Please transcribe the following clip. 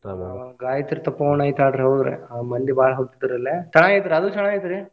ಆಹ್ ಗಾಯತ್ರಿ ತಪೋವನ ಐತಿ ಅಲ್ ಹೌದ್ರಿ ಆಹ್ ಮಂದಿ ಬಾಳ ಹೋಗ್ತೇತ್ರಿ ಅಲ್ಲಿ ಚನ್ನಾಗಿ ಐತ್ರಿ ಅದು ಚನ್ನಾಗಿ ಐತ್ರಿ.